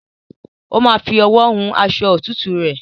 Ó ma fi owó hun aṣọ òtútùre